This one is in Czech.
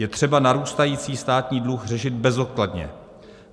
Je třeba narůstající státní dluh řešit bezodkladně.